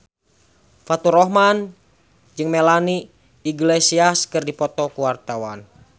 Faturrahman jeung Melanie Iglesias keur dipoto ku wartawan